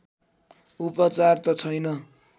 उपचार त छैन